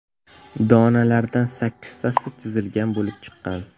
Donalardan sakkiztasi chizilgan bo‘lib chiqqan.